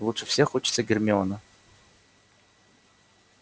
лучше всех учится гермиона